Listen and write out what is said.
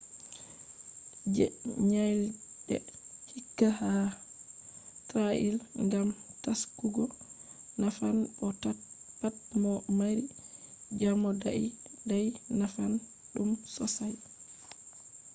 je nyalɗe hike ha trail gam taskugo nafan bo pat mo mari jamo dai dai nafan ɗum sossai